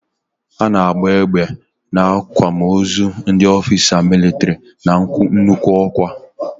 A na agba egbe n'akwamozu ndị ofisa militri no n'nnukwu okwa